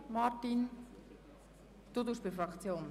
Grossrat Boss, sprechen Sie dazu?